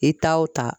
I ta o ta